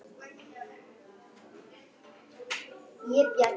Um heim allan.